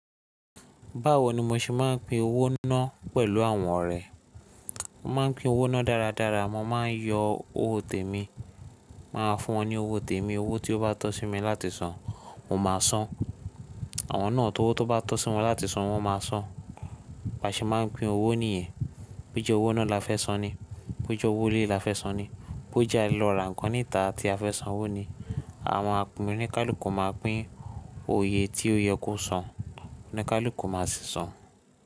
Báwo ni mo ṣe máa ń pín owó náà pẹ̀lú àwọn ọ̀rẹ́? Mo máa ń pín owó ná dáradára. Mo máa ń yọ owó tèmi, màá fún wọn ní owó tèmi. Owó tí ó bá tọ́ sí mi láti san, mo máa san. Àwọn náà tówó tó bá tọ́ sí wọn láti san, wọ́n máa san. Bí a ṣe máa ń pín owó nìyẹn. Bó jẹ owó iná la fẹ́ san ni, bó jé owó ilé la fẹ́ san ni, bó jẹ alo ra nkan níta tí a fẹ́ san owó ni, àwọn a pin oníkálukú máa pín oye tí ó yẹ kó san, oníkálukú má sì san.